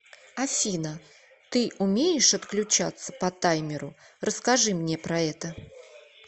афина ты умеешь отключаться по таймеру расскажи мне про это